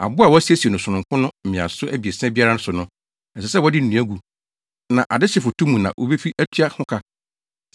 Abo a wɔasiesie no sononko no mmeaso abiɛsa biara so no, ɛsɛ sɛ wɔde nnua gu. Na adehye foto mu na wobefi atua ho ka.